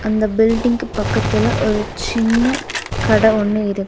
அந்த பில்டிங் கு பக்கத்துல ஒரு சின்ன கட ஒன்னு இருக்.